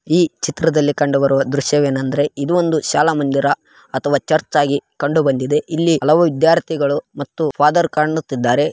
ಈ ಚಿತ್ರದಲ್ಲಿ ಕಂಡು ಬರುವ ದೃಶ್ಯವೆನೆಂದರೆ ಇದು ಒಂದು ಶಾಲ ಮಂದಿರ ಅಥವಾ ಚರ್ಚ್‌ ಆಗಿ ಕಂಡುಬಂದಿದೆ. ಇಲ್ಲಿ ಹಲವಾರು ವಿದ್ಯಾರ್ಥಿಗಳು ಮತ್ತು ಫಾದರ್ ಕಾಣುತೀದ್ದಾರೆ ಇದ್ದಾರೆ